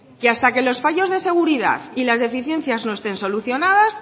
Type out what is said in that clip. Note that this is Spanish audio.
que hasta que los fallos de seguridad y las deficiencias no estén solucionadas